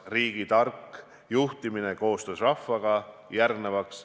Riigi tark juhtimine koostöös rahvaga.